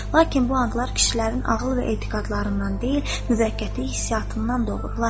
Lakin bu anlar kişilərin ağıl və etiqadlarından deyil, məhəbbətlik hissiyatından doğur.